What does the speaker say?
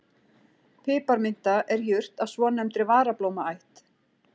Piparminta er jurt af svonefndri varablómaætt.